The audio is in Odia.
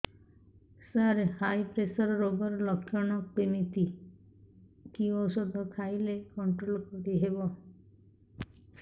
ସାର ହାଇ ପ୍ରେସର ରୋଗର ଲଖଣ କେମିତି କି ଓଷଧ ଖାଇଲେ କଂଟ୍ରୋଲ କରିହେବ